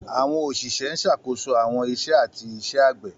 Àwọn òṣìṣẹ́ ń ṣàkóso àwọn iṣẹ́ àti iṣẹ́ ẹgbẹ́.